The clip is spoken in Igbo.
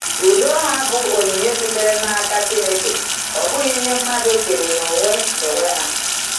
Udo ha bụ onyinye sitere n’aka Chineke, ọ bụghị ihe mmadụ kere n’onwe n’onwe ha.